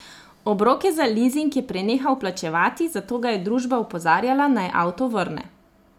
Obroke za lizing je prenehal plačevati, zato ga je družba opozarjala, naj avto vrne.